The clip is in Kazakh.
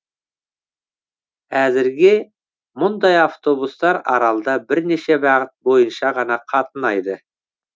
әзірге мұндай автобустар аралда бірнеше бағыт бойынша ғана қатынайды